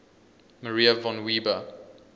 maria von weber